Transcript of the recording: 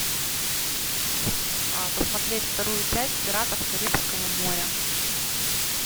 посмотреть вторую часть пиратов карибского моря